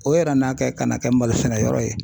O yɛrɛ n'a kɛ ka na kɛ malo sɛnɛ yɔrɔ ye.